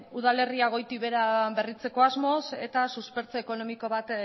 udalerria goitik behera berritzeko asmoz eta baita suspertze ekonomiko bat